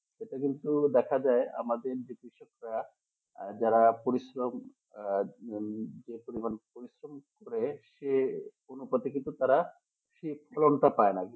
এটা কিন্তু দেখা যায় আমাদের যে কৃষকরা যারা পরিশ্রম আহ যে পরিমাণ পরিশ্রম করে সে অনুপাতে কিন্তু তারা ঠিক ফলনটা পাইনা